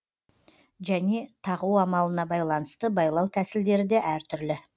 және тағу амалына байланысты байлау тәсілдері де әр түрлі